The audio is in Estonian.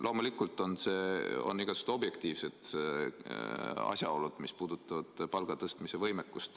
Loomulikult on igasugused objektiivsed asjaolud, mis mõjutavad palga tõstmise võimekust.